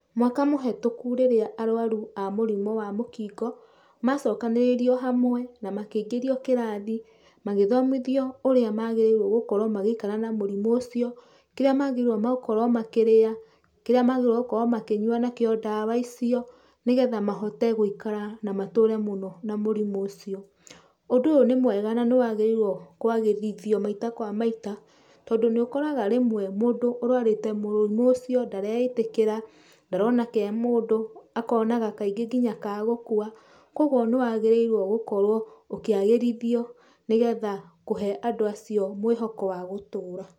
Mwaka mũhetũku rĩrĩa arwaru a mũrimũ wa mũkingo macokanĩrĩirio hamwe na makĩingĩrio kĩrathi, magĩthomithio ũrĩa magĩrĩirwo gũkorwo magĩikara na mũrimũ ũcio, kĩrĩa magĩrĩirwo gũkorwo makĩrĩa, kĩrĩa magĩrĩirwo gũkorwo makĩnyua nakĩo ndawa icio nĩgetha mahote gũikara na matũũre mũno na mũrimũ ũcio. Ũndũ ũyũ nĩ mwega na nĩwagĩrĩirwo kwagĩrithio maita kwa maita tondũ nĩ ũkoraga rĩmwe mũndũ ũrwarĩte mũrimũ ũcio ndareĩtĩkĩra, ndarona ke mũndũ, akonaga kaingĩ ngĩnya kagũkua, kwogwo nĩwagĩrĩirwo gũkorwo ũkĩagĩrithio nĩgetha kũhe andũ acio mwĩhoko wa gũtũũra.